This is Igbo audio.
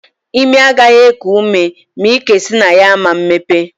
Imi agaghị eku ume ma ike si na ya ama mmepe.